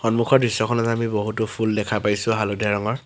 সন্মুখৰ দৃশ্যখনত আমি বহুতো ফুল দেখা পাইছোঁ হালধীয়া ৰঙৰ।